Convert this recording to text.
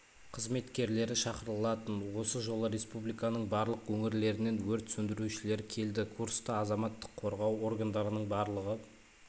қызметкерлері шақырылатын осы жолы республиканың барлық өңірлерінен өрт сөндірушілер келді курста азаматтық қорғау органдарының барлығы